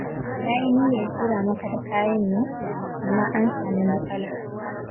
Na yi niyyar tura maka da kayan yau, amma an sami matsala.